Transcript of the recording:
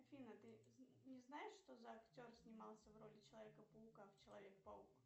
афина ты не знаешь что за актер снимался в роли человека паука в человек паук